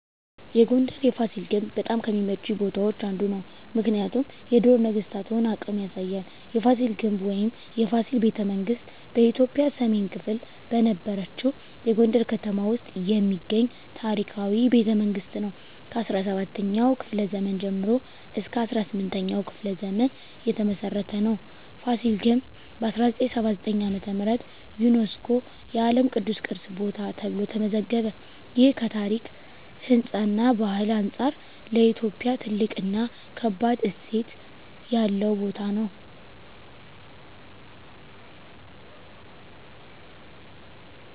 የጎንደር የፋሲል ግንብ በጣም ከሚመቹኝ ቦታዎች አንዱ ነው። ምክንያቱም የድሮ ነገስታቶን አቅም ያሳያል። የፋሲል ግንብ ወይም “የፋሲል ቤተመንግስት ” በኢትዮጵያ ሰሜን ክፍል በነበረችው የጎንደር ከተማ ውስጥ የሚገኝ ታሪካዊ ቤተመንግስት ነው። ከ17ኛው ክፍለ ዘመን ጀምሮ እስከ 18ኛው ክፍለ ዘመን የተመሰረተ ነው። ፋሲል ግንብ በ1979 ዓ.ም. ዩነስኮ የዓለም ቅዱስ ቅርስ ቦታ ተብሎ ተመዘገበ። ይህ ከታሪክ፣ ህንፃ እና ባህል አንጻር ለኢትዮጵያ ትልቅ እና ከባድ እሴት ያለው ቦታ ነው።